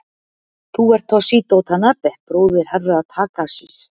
Þú ert Toshizo Tanabe, bróðir Herra Takashis?